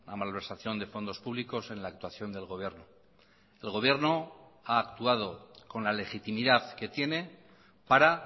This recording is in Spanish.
malversación de fondos públicos en la actuación del gobierno el gobierno ha actuado con la legitimidad que tiene para